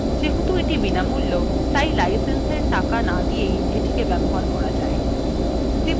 যেহেতু এটি বিনামূল্য তাই licenseএর টাকা না দিয়েই এটিকে ব্যবহার করা pay